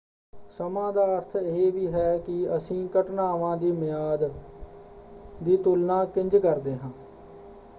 ਸਮਾਂ ਦਾ ਅਰਥ ਇਹ ਵੀ ਹੈ ਕਿ ਅਸੀਂ ਘਟਨਾਵਾਂ ਦੀ ਮਿਆਦ ਲੰਬਾਈ ਦੀ ਤੁਲਣਾ ਕਿੰਝ ਕਰਦੇ ਹਾਂ।